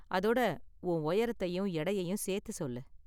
அதோட உன் உயரத்தையும் எடையையும் சேர்த்து சொல்லு.